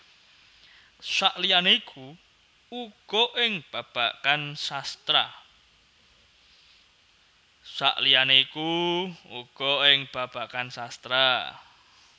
Saliyane iku uga ing babagan sastra